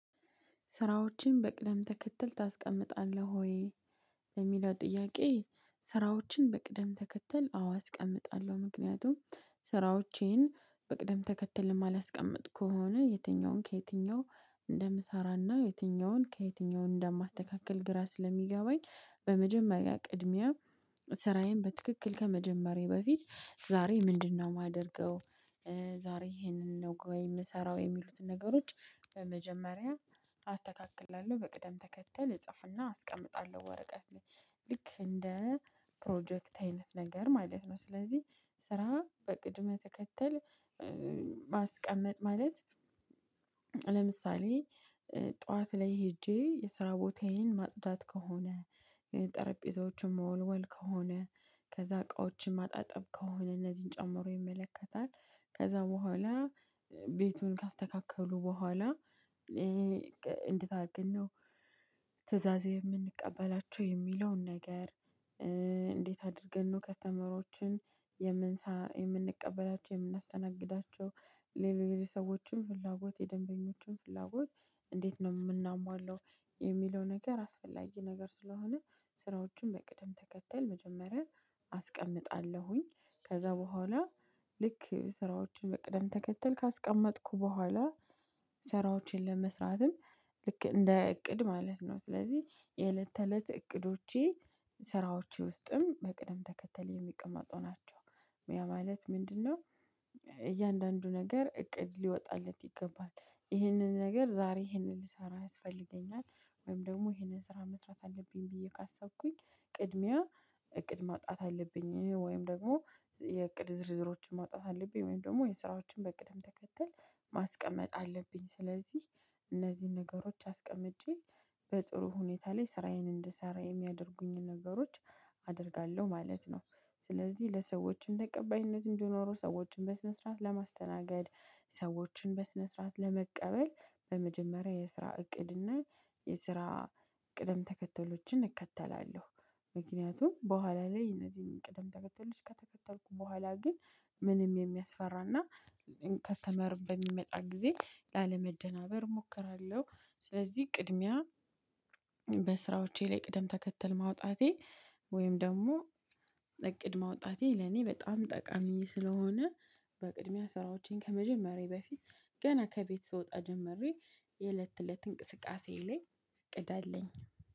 ስራዎችን በቅደም ተከተል ታስቀምጣለህ ወይ ለሚለው ጥያቄ? ስራዎችን በቅደም ተከተል አዎ አስቀምጣለሁ ምክንያቱም ስራዎቼን በቅደም ተከተል የማላስቀምጥ ከሆነ የትኛውን ከየትኛው እንደ ምሳራና የትኛውን ከየትኛውን እንደ ማስተካከል ግራ ስለሚገባኝ በመጀመሪያ ቅድሚያ ስራዬን በትክክል ከመጀመሬ በፊት ዛሬ ምንድነው የማደርገው? ዛሬ ይሄንን ነው የምሰራው የሚሉትን ነገሮች በመጀመሪያ አስተካክላለሁ በቅደም ተከተል እጽፍና አስቀምጣለሁ ወረቀት ላይ ልክ እንደ ፕሮጀክት አይነት ነገር ማለት ነው። ስለዚህ ስራ በቅድመ ተከተል ማስቀመጥ ማለት ለምሳሌ ጠዋት ላይ ሄጄ የስራ ቦታዬን ማጽዳት ከሆነ ጠረጴዛዎቹም መወልወል ከሆነ ከዛ እቃዎችን ማጣጠብ ከሆነ እነዚህን ጨምሮ ይመለከታል። ከዛ በኋላ ቤቱን ካስተካከሉ በኋላ እንዴት አድርገን ነው ትእዛዜ የምንቀበላቸው የሚለውን ነገር? እንዴት አድርገን ነው ከተመሮችን የምንሳ የምንቀበላቸው የምናስተናግዳቸው ሌሎች ሰዎችም ፍላጎት የደንበኞችም ፍላጎት እንዴት ነው የምናሟለው? የሚለው ነገር አስፈላጊ ነገር ስለሆነ ስራዎችን በቅደም ተከተል መጀመሪያ አስቀምጣለሁኝ። ከዛ በኋላ ልክ ስራዎችን በቅደም ተከተል ካስቀመጥኩ በኋላ ስራዎችን ለመስራትም ልክ እንደ እቅድ ማለት ነው። ስለዚህ የእለት ተእለት እቅዶቼ ስራዎቼ ውስጥም በቅደም ተከተል የሚቀመጡ ናቸው። ያ ማለት ምንድነው? እያንዳንዱ ነገር እቅድ ሊወጣለት ይገባል ይህንን ነገር ዛሬ ይህንን ልሰራ ያስፈልገኛል። ወይም ደግሞ ይህንን ስራ መስራት አለብኝ ብዬ ካሰብኩኝ ቅድሚያ እቅድ ማውጣት አለብኝ። ወይም ደግሞ የእቅድ ዝርዝሮችን ማውጣት አለብኝ ወይም ደግሞ የስራዎችን በቅድም ተከተል ማስቀመጥ አለብኝ። ስለዚህ እነዚህን ነገሮች አስቀምጬ በጥሩ ሁኔታ ላይ ስራዬን እንድሰራ የሚያደርጉኝ ነገሮች አደርጋለሁ ማለት ነው። ስለዚህ ለሰዎች ተቀባይነት እንደኖሩ ሰዎችን በስነ ስርዓት ለማስተናገድ ሰዎችን በስነ ስርዓት ለመቀበል በመጀመሪያ የስራ እቅድ እና የስራ ቅደም ተከተሎችን እከተላለሁ። ምክንያቱም በኋላ ላይ እነዚህን ቅደም ተከተሎች ከተከተልኩ በኋላ ግን ምንም የሚያስፈራና ከስተመር በሚመጣ ጊዜ ላለመደናበር እሞክራለሁ። ስለዚህ ቅድሚያ በስራዎቼ ላይ ቅደም ተከተል ማውጣቴ ወይም ደግሞ እቅድ ማውጣቴ ለኔ በጣም ጠቃሚ ስለሆነ። በቅድሚያ ስራዎቼን ከመጀመሬ በፊት ገና ከቤት ስወጣ ጀምሬ የእለት እለት እንቅስቃሴ ላይ እቅድ አለኝ